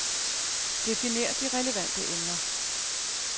Definer de relevante emner.